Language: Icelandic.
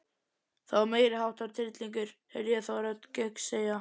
Þetta var meiriháttar tryllingur heyrði ég þá rödd Gauks segja.